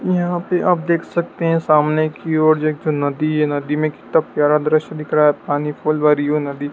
यहाँ पे आप देख सकते हैं सामने की ओर एक जो नदी है नदी में कितना प्यारा दृश्य दिख रहा है। पानी खोलवारीयों नदी --